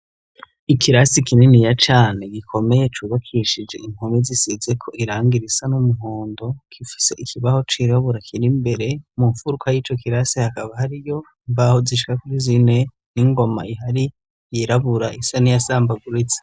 Ikirasi kininiya cane gikomeye cubakishije impome zisize ko irangi risa n'umuhondo kifuse ikibaho cirabura kirimbere mu mfuruka y'ico kirasi hakaba hari yo ibaho zishka kuri zine n'ingoma ihari yirabura isani yasambaguritse.